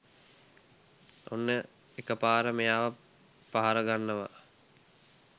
ඔන්න එකපාර මෙයාව පහර ගන්නවා